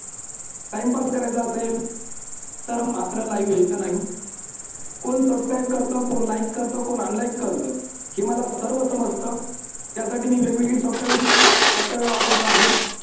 timepass करायचा असेल तर मात्र live यायचं नाही. कोण subscribe करत कोण like करत कोण unlike करतं हे मला सर्व समजतं. त्यासाठी मी वेगवेगळी softwaressoftware वापरत आहे.